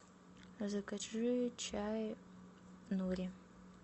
закажи чай нури